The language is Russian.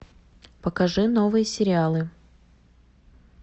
покажи новые сериалы